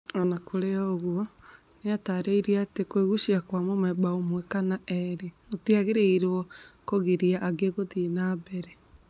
O na kũrĩ ũguo nĩaratarĩria atĩ kwĩgucia kwa mũmemba ũmwe kana erĩ gũtiagĩrĩiro kũgiria angĩ gũthiĩ na mbere.